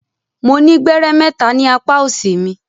Mo ni gbẹrẹ mẹta ni apa òsì mi.